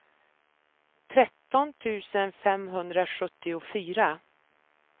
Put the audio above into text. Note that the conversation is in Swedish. tretton tusen femhundrasjuttiofyra